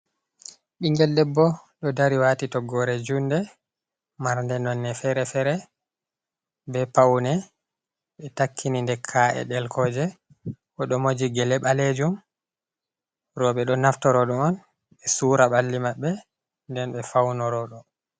Ɓingel debbo ɗo dari wati toggore junde marnde nonne fere-fere be paune ɓe takkini nde ka’e delkoje ɗo moji gele ɓalejum roɓɓe ɗo naftorodo on be sura balli maɓɓe nden ɓe faunoroɗo.